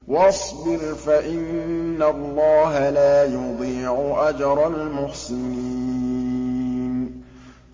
وَاصْبِرْ فَإِنَّ اللَّهَ لَا يُضِيعُ أَجْرَ الْمُحْسِنِينَ